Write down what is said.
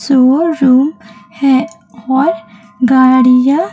sure शू है और गाड़ियां--